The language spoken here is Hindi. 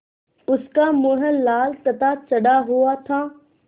उसका मुँह लाल तथा चढ़ा हुआ था